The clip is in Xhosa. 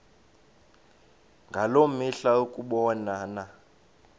ngaloo mihla ukubonana